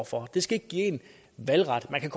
for det skal ikke give en valgret man kan